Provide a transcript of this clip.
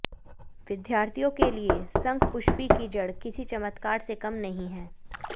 विद्यार्थियों के लिए शंखपुष्पी की जड़ किसी चमत्कार से कम नहीं है